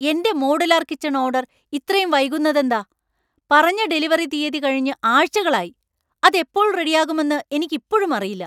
എന്റെ modular kitchen order ഇത്രയും വൈകുന്നതെന്താ? പറഞ്ഞ ഡെലിവറി തീയതി കഴിഞ്ഞ് ആഴ്ചകളായി, അത് എപ്പോൾ റെഡിയാകുമെന്ന് എനിക്ക് ഇപ്പോഴും അറിയില്ല.